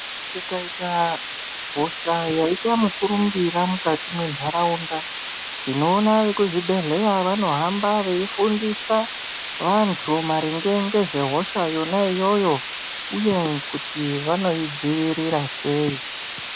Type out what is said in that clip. Kukaita hosha yaita mukurumbira mukati mwentaraunda, tinoona vekuzvibhedhleya vanohamba veifundisa, vantu maringe ngezvehosha yona iyoyo, uye kuti vanoidzivirira sei.